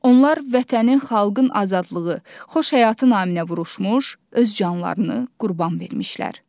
Onlar Vətənin, xalqın azadlığı, xoş həyatı naminə vuruşmuş, öz canlarını qurban vermişlər.